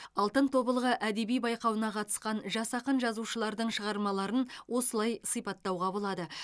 алтын тобылғы әдеби байқауына қатысқан жас ақын жазушылардың шығармаларын осылай сипаттауға болады